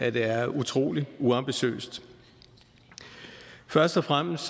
at det er utrolig uambitiøst først og fremmest